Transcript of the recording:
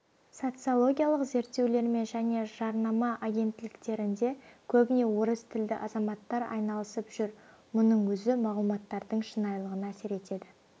социологиялық зерттеулермен және жарнама агенттіктерінде көбіне орыс тілді азаматтар айналысып жүр мұның өзі мағлұматтардың шынайылығына әсер етеді